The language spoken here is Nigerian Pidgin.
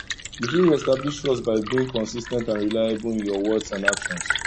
you fit reestablish trust by being consis ten t and reliable in your words and actions